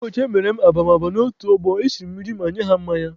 Ụbọchị emere m ababama n'otu ọgbọ, esiri m nri ma nye ha mmanya.